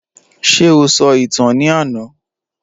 Ṣé o sọ ìtàn ní àná?